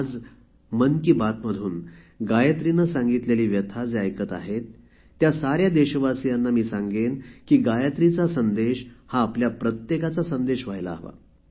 आज मन की बातमधून गायत्रीने सांगितलेली व्यथा जे ऐकत आहेत त्या साऱ्या देशवासियांना मी सांगेन की गायत्रीचा संदेश हा आपल्या प्रत्येकाचा संदेश व्हायला हवा